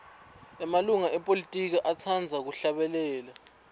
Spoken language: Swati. emalunga epolitiki atsqndza kuhlabela